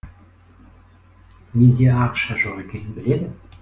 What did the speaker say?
менде ақша жоқ екенін біледі